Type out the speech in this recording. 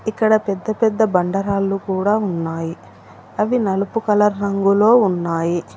ఇక్కడ పెద్ద పెద్ద బండ రాళ్లు కూడా ఉన్నాయి అవి నలుపు కలర్ రంగులో ఉన్నాయి.